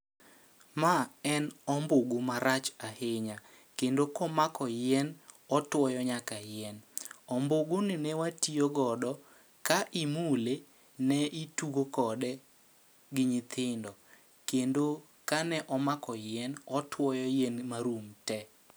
Ma en ombugu ma rach ahinya, kendo komako yien otwoyo nyaka yien. Ombugu ni ne watiyo godo, ka imule ne itugo kode gi nyithindo. Kendo ka ne omako yien, otwoyo yien ma rum te.